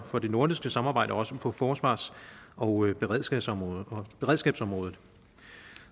for det nordiske samarbejde også på forsvars og beredskabsområdet beredskabsområdet